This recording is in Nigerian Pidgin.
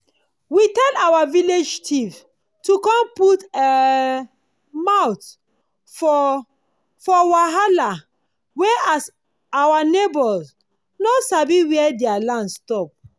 we tell our village chiefs to com put um mouth for for wahala wey as our nieghbor no sabi where dia land stop